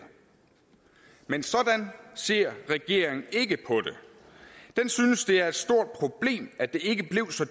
men sådan ser regeringen ikke på det den synes at det er et stort problem at det ikke blev så